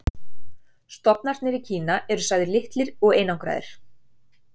stofnarnir í kína eru sagðir litlir og einangraðir